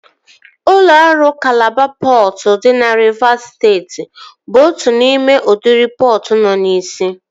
Ụlọ ọrụ Kalaba pọtụ dị na Rivas steeti bụ otu n'ime udiri pọtụ nọ n'isi